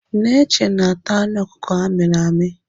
Neche na-ata anụ ọkụkụ amịrị amị.